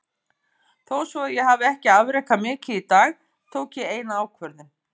Þó svo ég hafi ekki afrekað mikið í dag, tók ég eina ákvörðun.